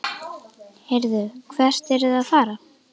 Heyrðu, hvert eruð þið að fara?